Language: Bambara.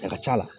A ka c'a la